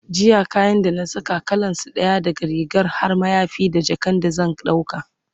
jiya kayan da na Saka, kalansu ɗaya, daga rigar har mayafi da jakan da zan dauka